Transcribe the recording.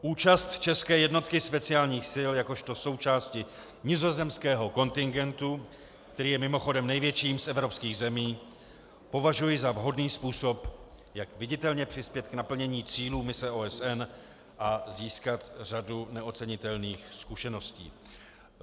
Účast české jednotky speciálních sil jakožto součásti nizozemského kontingentu, který je mimochodem největším z evropských zemí, považuji za vhodný způsob, jak viditelně přispět k naplnění cílů mise OSN a získat řadu neocenitelných zkušeností.